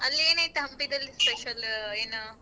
ಅಲ್ಲಿ ಏನ್ ಐತೆ ಹಂಪಿದಲ್ special ಏನು?